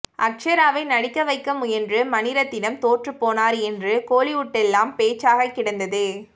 அக்ஷராவை நடிக்க வைக்க முயன்று மணிரத்னம் தோற்றுப்போனார் என்று கோலிவுட்டெல்லாம் பேச்சாக கிடந்தது